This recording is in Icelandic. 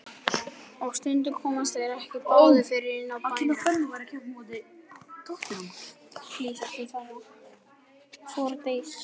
Og stundum komust þeir ekki báðir fyrir inni í bænum.